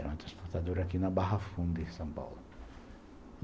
Era uma transportadora aqui na Barra Funda, em São Paulo.